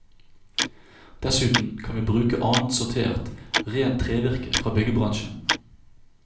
Dessuten kan vi bruke annet sortert, rent trevirke fra byggebransjen.